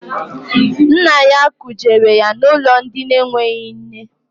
Nna ya kujere ya n'ụlọ ndị enweghị nne.